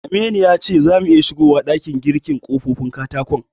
Aminu ya ce zamu iya siyowa ɗakin girkin ƙofofin katakon.